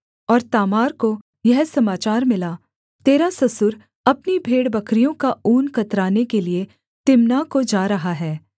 और तामार को यह समाचार मिला तेरा ससुर अपनी भेड़बकरियों का ऊन कतराने के लिये तिम्नाह को जा रहा है